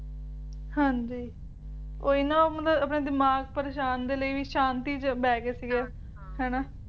ਹਾਂਜੀ ਉਹੀ ਨਾ ਮਤਲਬ ਆਪਣੇ ਦਿਮਾਗ ਪ੍ਰੇਸ਼ਾਨ ਦੇ ਲਈ ਵੀ ਸ਼ਾਂਤੀ ਚ ਬਹਿਗੇ ਸੀਗੇ ਹਾਂ ਹਨਾਂ